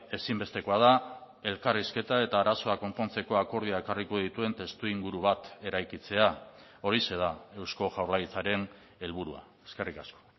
ezinbestekoa da elkarrizketa eta arazoa konpontzeko akordioa ekarriko dituen testuinguru bat eraikitzea horixe da eusko jaurlaritzaren helburua eskerrik asko